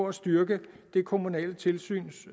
at styrke det kommunale tilsyns